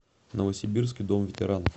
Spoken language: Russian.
новосибирский дом ветеранов